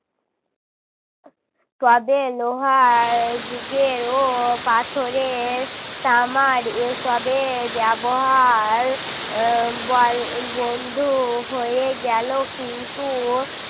তবে লোহায় যুগেও পাথরের তামার এসবের ব্যবহার বন~ বন্ধ হয়ে গেল কিন্তু